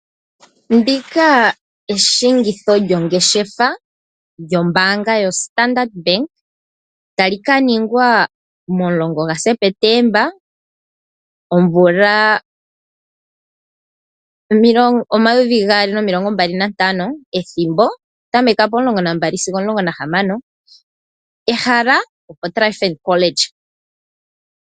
Eshingitho lyongeshefa lyombaanga yoStandard Bank tali ka ningwa mo-10 gaSeptemba, omvula 2025, ethimbo okutameka po12 sigo opo -16, ehala opoTriumphant College